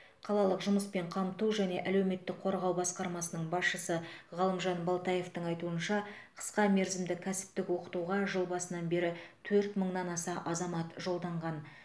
қалалық жұмыспен қамту және әлеуметтік қорғау басқармасының басшысы ғалымжан балтаевтың айтуынша қысқа мерзімді кәсіптік оқытуға жыл басынан бері төрт мыңнан аса азамат жолданған